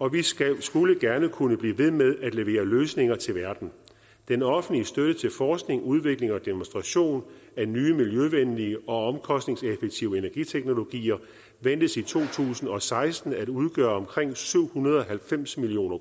og vi skulle skulle gerne kunne blive ved med at levere løsninger til verden den offentlige støtte til forskning udvikling og demonstration af nye miljøvenlige og omkostningseffektive energiteknologier ventes i to tusind og seksten at udgøre omkring syv hundrede og halvfems million